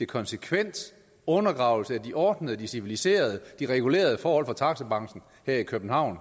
konsekvent undergravelse af de ordnede de civiliserede og de regulerede forhold for taxabranchen her i københavn